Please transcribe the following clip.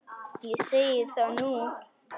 Ég segi það nú!